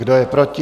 Kdo je proti?